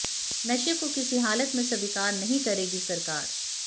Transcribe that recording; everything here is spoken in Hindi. नशे को किसी हालत में स्वीकार नहीं करेगी सरकार